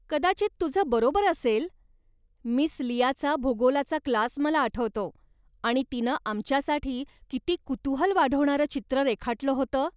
कदाचित तुझं बरोबर असेल! मिस लियाचा भूगोलाचा क्लास मला आठवतो आणि तिनं आमच्यासाठी किती कुतूहल वाढवणारं चित्र रेखाटलं होतं.